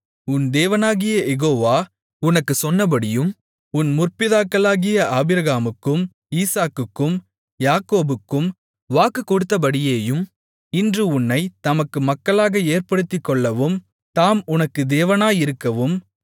உன் தேவனாகிய யெகோவா உனக்குச் சொன்னபடியேயும் உன் முற்பிதாக்களாகிய ஆபிரகாமுக்கும் ஈசாக்குக்கும் யாக்கோபுக்கும் வாக்குக்கொடுத்தபடியேயும் இன்று உன்னைத் தமக்கு மக்களாக ஏற்படுத்திக்கொள்ளவும் தாம் உனக்கு தேவனாயிருக்கவும்